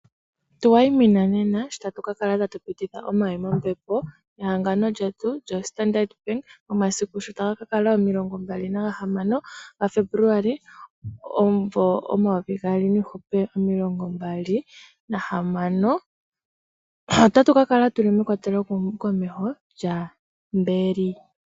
Tu wayimina nena shi tatu ka kala tatu pititha omawi mombepo nehagano lyetu lyoStandard Bank omasiku sho taga ka kala omilongo mbali nagahamano gaFebuluali omumvo omayovi gaali niihupe omilongo mbali nahamano. Otatu ka kala tuli mekwateli komeho lyaMberi.